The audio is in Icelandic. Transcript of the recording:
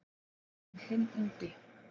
En hinn ungi